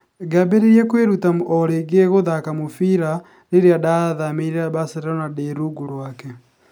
Ngĩambĩrĩria kwĩruta o rĩngĩ gũthaaka mũbira rĩrĩa ndaathamĩire Barcelona ndĩ rungu rwake.